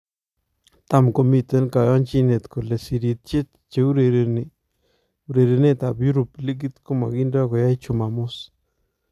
Tam komiten kayanjinet kole sirityeet cheurereni urerenetab Europe likit komakinda koyai chumamos